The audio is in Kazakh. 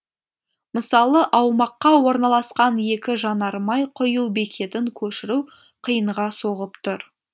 мысалы аумаққа орналасқан екі жанармай құю бекетін көшіру қиынға соғып тұр